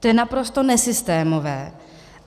To je naprosto nesystémové.